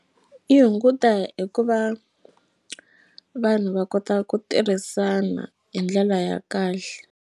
Yi hunguta hi ku va vanhu va kota ku tirhisana hi ndlela ya kahle.